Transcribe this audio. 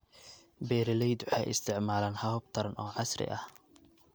Beeraleydu waxay isticmaalaan habab taran oo casri ah.